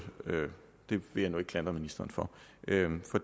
jeg vil ikke klandre ministeren for